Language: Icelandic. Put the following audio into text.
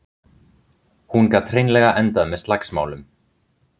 Hún gat hreinlega endað með slagsmálum.